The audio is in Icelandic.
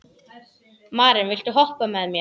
Maren, viltu hoppa með mér?